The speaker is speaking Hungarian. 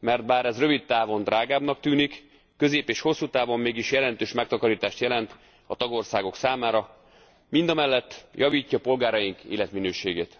mert bár ez rövid távon drágábbnak tűnik, közép és hosszú távon mégis jelentős megtakarítást jelent a tagországok számára, mindamellett javítja polgáraink életminőségét.